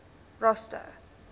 rosta